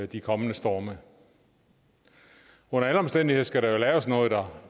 de kommende storme under alle omstændigheder skal der jo laves noget dér